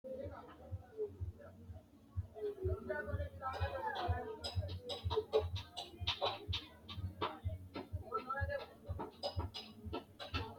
Kitaare horoonsinanihu addi addi baseraati horoonsinanni basenno kaaliiqqa ayiirinsaniwa ikko hakiini saenno babbaxitinno sirbu baseraati iae uyiitano huuro lowontta danchate